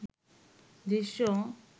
দৃশ্য